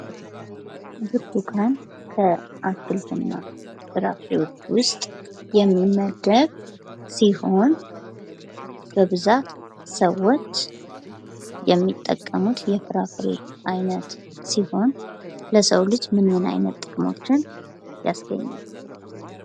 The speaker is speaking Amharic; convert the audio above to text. ብርቱካን ከ አትክልትና ፍራፍሬዎች ውስጥ የሚመደብ ሲሆን፤ በብዛት ሰዎች የሚጠቀሙት የፍራፍሬ አይነት ሲሆን ፤ለሰው ልጅ ምን ምን አይነት ጥቅሞችን ያስገኛል?